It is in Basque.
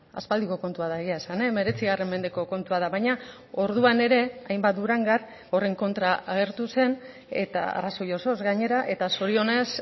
aspaldiko kontua da egia esan hemeretzi mendeko kontua da baina orduan ere hainbat durangar horren kontra agertu zen eta arrazoi osoz gainera eta zorionez